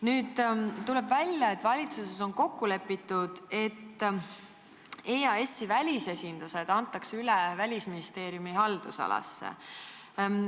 Nüüd tuleb välja, et valitsuses on kokku lepitud, et EAS-i välisesindused antakse üle Välisministeeriumi haldusalasse.